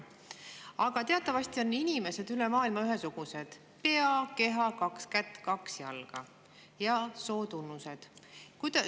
Aga teatavasti on inimesed üle maailma ühesugused: pea, keha, kaks kätt, kaks jalga ja sootunnused.